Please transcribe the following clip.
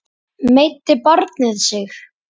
Meiddi barnið sig mikið?